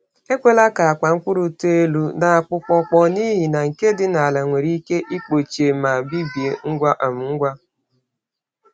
Ekwela ka akpa mkpụrụ too elu n’akpụkpọkpọ, n’ihi na nke dị n’ala nwere ike ịkpọchie ma bibie ngwa um ngwa.